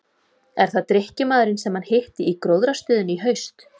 Er það drykkjumaðurinn sem hann hitti í gróðrarstöðinni í haust?